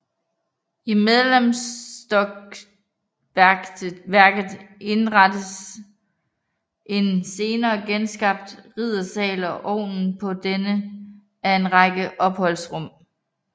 I mellemstokværket indrettedes en senere genskabt riddersal og oven på denne en række opholdsrum